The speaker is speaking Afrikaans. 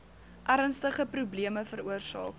ernstige probleme veroorsaak